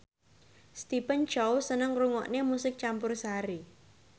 Stephen Chow seneng ngrungokne musik campursari